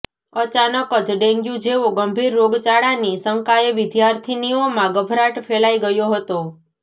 અચાનક જ ડેન્ગ્યૂ જેવો ગંભીર રોગચાળાની શંકાએ વિર્દ્યાિથનીઓમાં ગભરાટ ફેલાઇ ગયો હતો